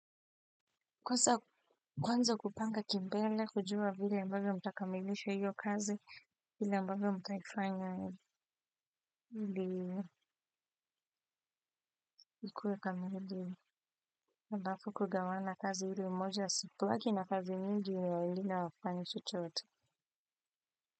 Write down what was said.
Kwanza kupanga kimbele, kujua vile ambavyo mtakamilisha hiyo kazi, vile ambavyo mtaifanya ili ikuwe kamili, halafu kugawana kazi ili mmoja asibaki na kazi mingi na wengine hawafanyi chochote.